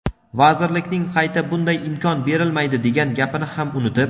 vazirlikning qayta bunday imkon berilmaydi degan gapini ham unutib.